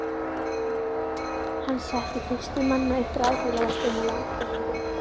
Hann setti fyrstur manna upp raftækjaverslun í landsfjórðungnum.